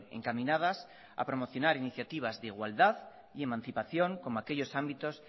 encaminadas a promocionar iniciativas de igualdad y emancipación como aquellos ámbitos